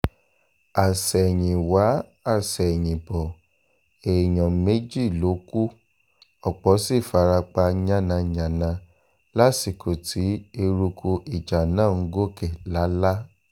àsẹ̀yìnwá-àsẹ̀yìnbọ̀ èèyàn méjì ló kù ọ̀pọ̀ sì fara pa yánnayànna lásìkò tí eruku ìjà náà ń gòkè lálá